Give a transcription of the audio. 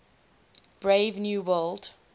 brave new world